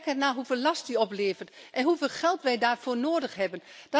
Kijk ernaar hoeveel last die oplevert en hoeveel geld wij daarvoor nodig hebben.